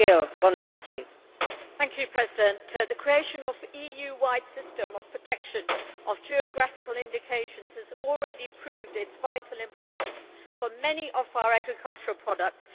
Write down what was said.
Madam President, the creation of an EU wide system of protection of geographical indications has already proved its vital importance for many of our agricultural products.